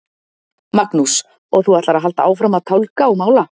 Magnús: Og þú ætlar að halda áfram að tálga og mála?